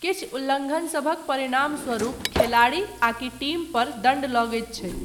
किछु उल्लङ्घनसभक परिणामस्वरूप खेलाड़ी आकि टीम पर दण्ड लगैत छै।